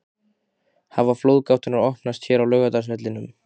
Hafa flóðgáttirnar opnast hér á Laugardalsvellinum??